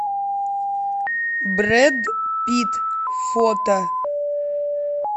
брэд питт фото